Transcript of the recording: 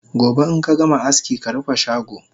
Gobe inkagama aski karufe shago!